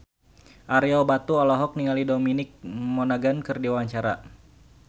Ario Batu olohok ningali Dominic Monaghan keur diwawancara